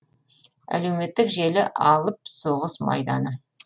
әлеуметтік желі алып соғыс майданы